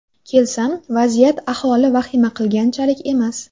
Kelsam, vaziyat aholi vahima qilganchalik emas.